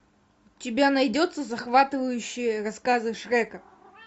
у тебя найдется захватывающие рассказы шрека